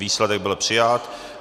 Výsledek byl přijat.